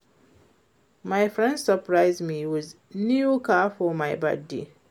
My friend surprise me with new car for my birthday